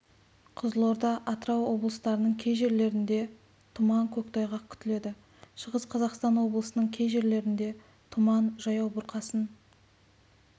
қызылорда атырау облыстарының кей жерлерінде тұман көктайғақ күтіледі шығыс қазақстан облысының кей жерлерінде тұман жаяу бұрқасын